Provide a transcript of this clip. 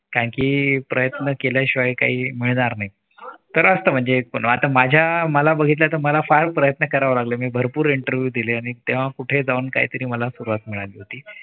कारण की प्रयत्न केल्याशिवाय काही मिळणार नाही तर असत म्हणजे पण आता माझ्या मला बघितलं तर मला फार प्रयत्न करावे लागले मी भरपूर interview दिले आणि तेव्हा कुठे जाऊन काहीतरी मला सुरुवात मिळाली होती.